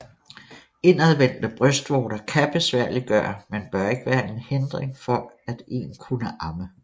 Indadvendte brystvorter kan besværliggøre men bør ikke være en hindring for at en kunne amme